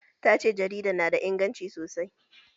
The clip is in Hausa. Tace jaridar na da inganci sosai